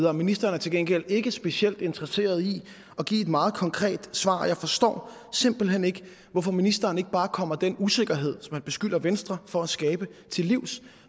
og ministeren er til gengæld ikke specielt interesseret i at give et meget konkret svar jeg forstår simpelt hen ikke hvorfor ministeren ikke bare kommer den usikkerhed som han beskylder venstre for at skabe til livs